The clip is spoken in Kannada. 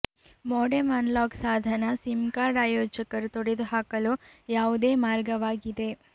ಮೋಡೆಮ್ ಅನ್ಲಾಕ್ ಸಾಧನ ಸಿಮ್ ಕಾರ್ಡ್ ಆಯೋಜಕರು ತೊಡೆದುಹಾಕಲು ಯಾವುದೇ ಮಾರ್ಗವಾಗಿದೆ